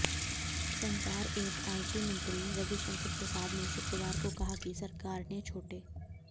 संचार एवं आईटी मंत्री रविशंकर प्रसाद ने शुक्रवार को कहा कि सरकार ने छोटे